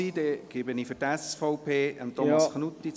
Ich gebe Thomas Knutti für die SVP das Wort.